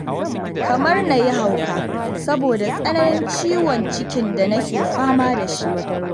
Kamar na yi hauka, saboda tsananin ciwon cikin da nake fama da shi